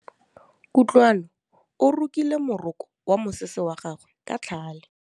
Kutlwanô o rokile morokô wa mosese wa gagwe ka tlhale.